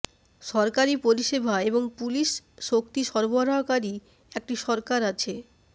সরকারি পরিষেবা এবং পুলিশ শক্তি সরবরাহকারী একটি সরকার আছে